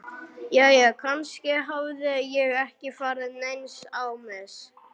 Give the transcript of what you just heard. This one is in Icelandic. Jæja, kannski hafði ég ekki farið neins á mis.